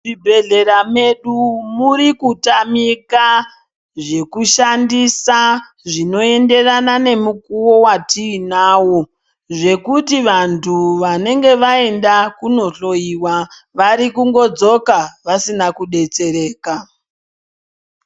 Muzvibhedhlera medu murikutamika zvekushandisa zvinoenderana nemukuvo vatiinavo. Zvekuti vantu vanenge vaenda kunohloiwa varikungodzoka vasina kubetsereka.